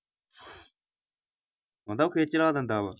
ਆਂਦਾ ਉਹ ਖਿੱਜ ਚੜਾ ਦਿੰਦਾ ਵਾ।